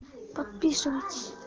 подписывайтесь